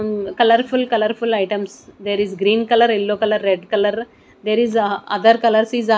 um colourful colourful items there is green colour yellow colour red colour there is uh others colours is a --